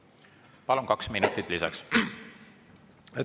Palun, kaks minutit lisaks!